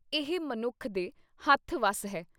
ਇਹ ਮਨੁੱਖ ਦੇ ਹੱਥ ਵੱਸ ਹੈ।